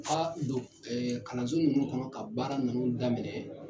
Aa kalanso ninnu kɔnɔ ka baara ninnu daminɛ